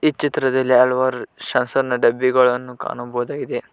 ಚಿತ್ರದಲ್ಲಿ ಹಲವಾರು ಶಾಸನ ಡಬ್ಬಿಗಳನ್ನು ಕಾಣಬಹುದಾಗಿದೆ.